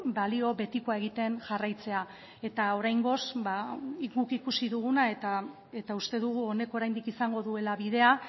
balio betikoa egiten jarraitzea eta oraingoz guk ikusi duguna eta uste dugu honek oraindik izango duela bidea